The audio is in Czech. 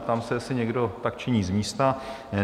Ptám se, jestli někdo tak činí z místa?